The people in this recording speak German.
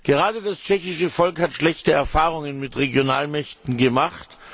Gerade das tschechische Volk hat schlechte Erfahrungen mit Regionalmächten gemacht.